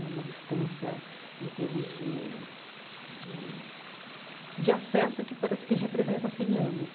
É uma distância, em termos de de de acesso, que parece que representa cem anos.